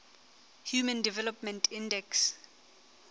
human development index